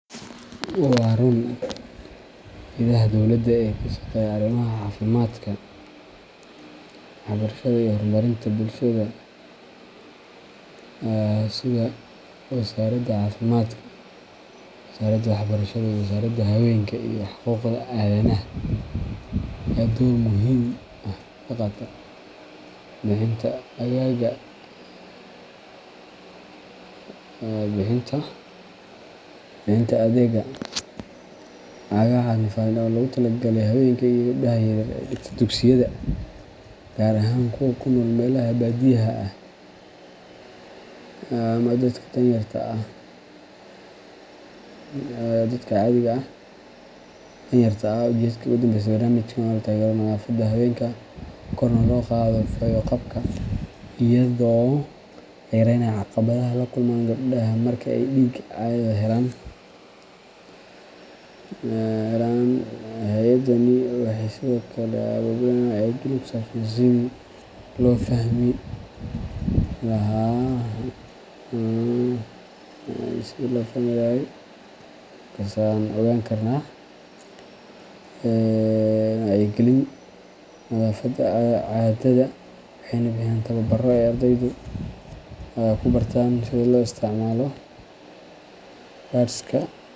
Waa ruun. Hay’adaha dowladda ee ka shaqeeya arrimaha caafimaadka, waxbarashada iyo horumarinta bulshada sida Wasaaradda Caafimaadka, Wasaaradda Waxbarashada, iyo Wasaaradda Haweenka iyo Xuquuqda Aadanaha ayaa door muhiim ah ka qaata bixinta caagagga nadaafadda ee loogu talagalay haweenka iyo gabdhaha yaryar ee dhigta dugsiyada, gaar ahaan kuwa ku nool meelaha baadiyaha ah ama dadka danyarta ah. Ujeeddada ka dambeysa barnaamijkan waa in la taageero nadaafadda haweenka, korna loo qaado fayo-qabka, iyadoo la yareynayo caqabadaha ay la kulmaan gabdhaha marka ay dhiigga caadada helaan. Hay’adahani waxay sidoo kale abaabulaan wacyigelin ku saabsan sidii loo fahmi lahaa muhiimada nadaafadda caadada, waxayna bixiyaan tababbarro ay ardaydu ku bartaan sida loo isticmaalo pads-ka.